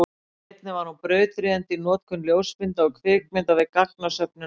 einnig var hún brautryðjandi í notkun ljósmynda og kvikmynda við gagnasöfnun á vettvangi